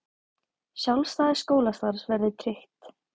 Sjálfstæði skólastarfs verði tryggt